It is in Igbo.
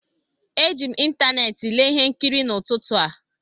Eji m ịntanetị lee ihe nkiri n'ụtụtụ a